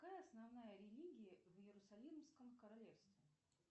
какая основная религия в иерусалимском королевстве